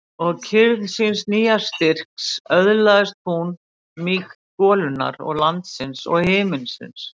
Og í kyrrð síns nýja styrks öðlaðist hún mýkt golunnar og landsins og himinsins.